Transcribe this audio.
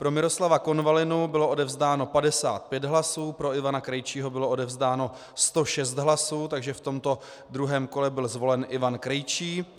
Pro Miroslava Konvalinu bylo odevzdáno 55 hlasů, pro Ivana Krejčího bylo odevzdáno 106 hlasů, takže v tomto druhém kole byl zvolen Ivan Krejčí.